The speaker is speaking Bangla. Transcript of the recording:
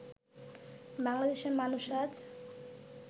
বাংলাদেশের মানুষ আজ